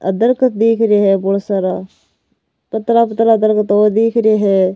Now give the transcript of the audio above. आ दरकत दिख रहे है बहोत सारा पतला पतला दरकत और दीख रे है।